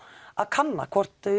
að kanna hvort